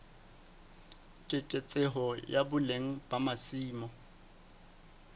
keketseho ya boleng ba masimo